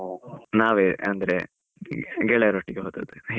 ನಾವೆ ಅಂದ್ರೆ, ಗೆಳೆಯರ್ ಒಟ್ಟಿಗೆ ಹೋದದ್ದು ಹೀಗೆ.